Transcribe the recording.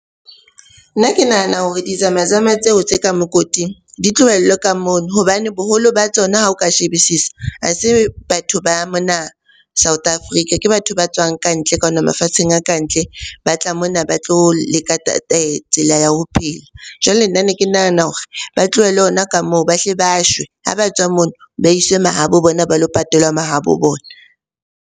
Nna ke nahana hore di zamazama tseo tse ka mokoting di tlohellwe ka mono hobane boholo ba tsona ha o ka shebisisa, ha se batho ba mona South Africa. Ke batho ba tswang ka ntle kwana mafatsheng a kantle, ba tla mona ba tlo leka tsela ya ho phela. Jwale nna ne ke nahana hore ba tlohelwe hona ka moo, ba hle ba shwe. Ha ba tswa mono, ba iswe mahabo bona ba lo patelwa mahabo bona.